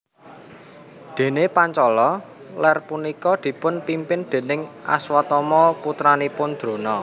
Dene Pancala Ler punika dipun pimpin déning Aswatama putranipun Drona